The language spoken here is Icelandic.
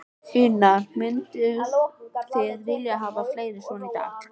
Una: Mynduð þið vilja hafa fleiri svona daga?